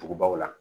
Dugubaw la